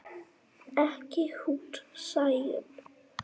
Ekki hún Sæunn.